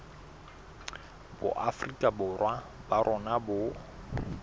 boafrika borwa ba rona bo